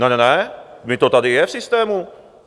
Ne, ne, ne, vždyť to tady je v systému.